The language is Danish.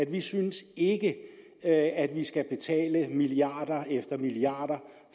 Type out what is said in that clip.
vi synes ikke at vi skal betale milliarder efter milliarder